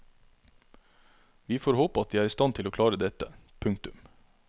Vi får håpe at de er i stand til å klare dette. punktum